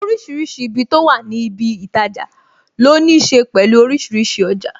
Orísìírísìí ibi tó wà ní ibi itaja, ló ní ṣe pẹ̀lú orísìírísìí ọjà